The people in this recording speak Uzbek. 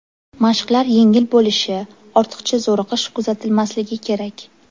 Mashqlar yengil bo‘lishi, ortiqcha zo‘riqish kuzatilmasligi kerak.